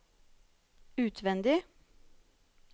utvendig